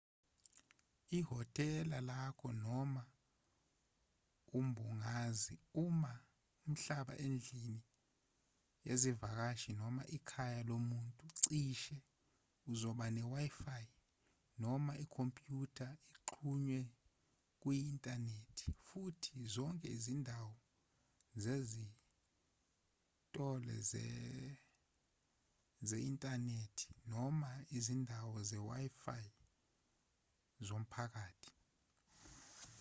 ihhotela lakho noma umbungazi uma uhlala endlini yezivakashi noma ikhaya lomuntu cishe uzoba ne-wifi noma ikhompyutha exhunywe kuyi-inthanethi futhi zonke izindawo zinezitolo ze-inthanethi noma izindawo ze-wifi zomphakathi